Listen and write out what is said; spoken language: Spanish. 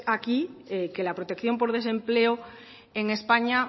aquí que la protección por desempleo en españa